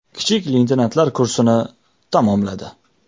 Kichik leytenantlar kursini tamomladi.